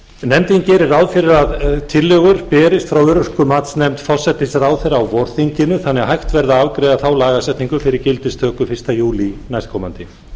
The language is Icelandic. nefndin gerir ráð fyrir að tillögur berist frá örorkumatsnefnd forsætisráðherra á vorþinginu þannig að hægt verði að afgreiða þá lagasetningu fyrir gildistöku fyrsta júlí næstkomandi